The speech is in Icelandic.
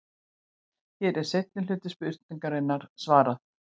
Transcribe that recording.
Hér er seinni hluta spurningarinnar svarað.